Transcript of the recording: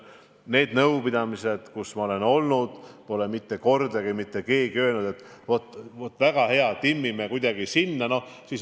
Nendel nõupidamistel, kus ma olen olnud, pole mitte kordagi mitte keegi öelnud, et väga hea, timmime kuidagi väljamaksed sellesse aega.